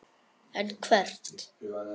En hvert?